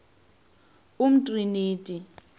umtriniti